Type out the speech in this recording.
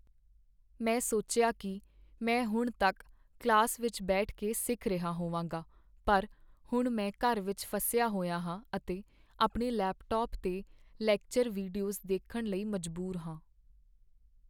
ਮੈਂ ਸੋਚਿਆ ਕੀ ਮੈਂ ਹੁਣ ਤੱਕ ਕਲਾਸ ਵਿੱਚ ਬੈਠ ਕੇ ਸਿੱਖ ਰਿਹਾ ਹੋਵਾਂਗਾ, ਪਰ ਹੁਣ ਮੈਂ ਘਰ ਵਿੱਚ ਫਸਿਆ ਹੋਇਆ ਹਾਂ ਅਤੇ ਆਪਣੇ ਲੈਪਟਾਪ 'ਤੇ ਲੈਕਚਰ ਵੀਡੀਓਜ਼ ਦੇਖਣ ਲਈ ਮਜਬੂਰ ਹਾਂ।